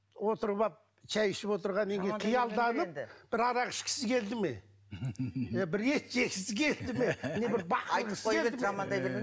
отырып алып шай ішіп отырған неге қиялданып бір арақ ішкісі келді ме е бір ет жегісі келді ме не бір бақырғысы келді жамандай берме